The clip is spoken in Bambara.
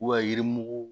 yirimugu